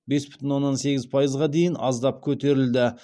бес бүтін оннан сегіз пайызға дейін аздап көтерілді